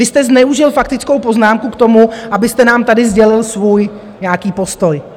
Vy jste zneužil faktickou poznámku k tomu, abyste nám tady sdělil svůj nějaký postoj.